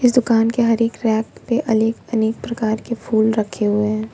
इस दुकान के हर एक रैक पे अलेक अनेक प्रकार के फूल रखे हुए हैं।